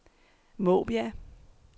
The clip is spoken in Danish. Måbjerg